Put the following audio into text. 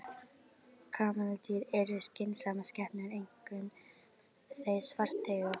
Kameldýr eru skynsamar skepnur, einkum þau svarteygu.